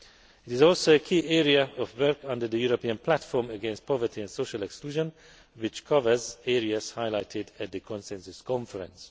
It is also a key area of work under the European Platform against Poverty and Social Exclusion, which covers areas highlighted at the Consensus Conference.